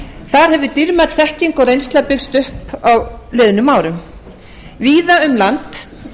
þar hefur dýrmæt þekking og reynsla byggst upp á liðnum árum víða um land